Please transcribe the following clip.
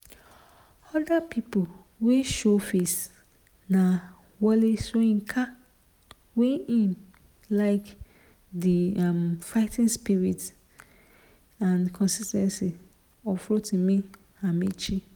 oda pipo wey showface na wole soyinka wey say im like di um fighting spirit and consis ten cy of rotimi amaechi